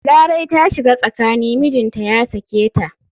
Larai ta shiga tsakani mijinta ya sake ta.